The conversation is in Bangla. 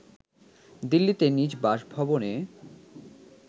দিল্লিতে নিজ বাসভবনে